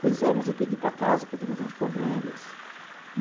Pois é, mas eu tenho que ir para casa, porque tenho alguns problemas.